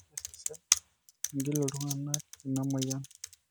kesesh ing'il oltungani ina moyian